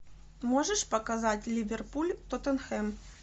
можешь показать ливерпуль тоттенхэм